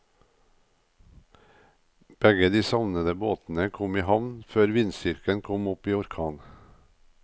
Begge de savnede båtene kom i havn før vindstyrken kom opp i orkan.